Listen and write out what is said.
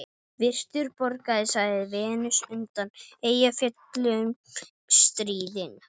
Virtur borgari, sagði Venus undan Eyjafjöllum stríðin.